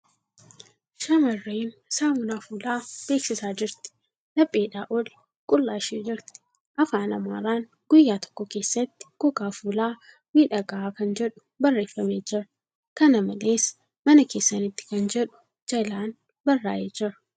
Shamarreen saamunaa fuulaa beeksisaa jirti. Lapheedhaa ol qullaa ishee jirti. Afaan Amaaraan ' Guyyaa tokko keessatti gogaa fuulaa miidhagaa'a kan jedhu barreeffamee jira. Kana malees, 'Mana keessanitti' kan jedhu jalaan barraa'ee jira.